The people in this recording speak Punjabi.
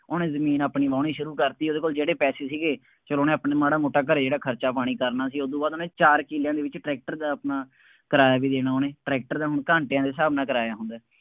ਉਹਨੇ ਜ਼ਮੀਨ ਆਪਣੀ ਵਾਹੁਣੀ ਸ਼ੁਰੂ ਕਰਤੀ। ਉਹਦੇ ਕੋਲ ਜਿਹੜੇ ਪੈਸੇ ਸੀਗੇ, ਚੱਲੋ ਉਹਨੇ ਆਪਾਂ ਨੂੰ ਮਾੜਾ ਮੋਟਾ ਘਰੇ ਜਿਹੜਾ ਖਰਚਾ ਪਾਣੀ ਕਰਨਾ ਸੀ, ਉਦੋਂ ਬਾਅਦ ਉਹਨੇ ਚਾਰ ਕਿੱਲਿਆਂ ਦੇ ਵਿੱਚ ਟਰੈਕਟਰ ਦਾ ਆਪਣਾ, ਕਿਰਾਇਆ ਵੀ ਦੇਣਾ ਉਹਨੇ, ਟਰੈਕਟਰ ਦਾ ਹੁਣ ਘੰਟਿਆਂ ਦੇ ਹਿਸਾਬ ਨਾਲ ਕਿਰਾਇਆ ਹੁੰਦਾ।